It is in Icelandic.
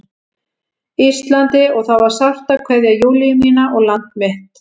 Íslandi og það var sárt að kveðja Júlíu mína og land mitt.